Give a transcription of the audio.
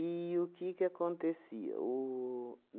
o que que acontecia? O